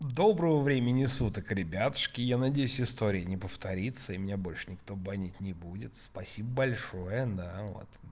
доброго времени суток ребятушки я надеюсь истории не повторится и меня больше никто банить не будет спасибо большое на вот